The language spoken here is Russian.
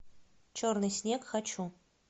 черный снег хочу